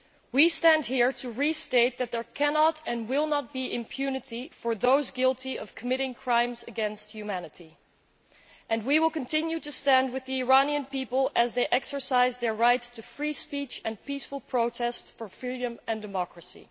We stand here to restate that there cannot and will not be impunity for those guilty of committing crimes against humanity, and we will continue to stand with the Iranian people as they exercise their right to free speech and peaceful protest for freedom and democracy.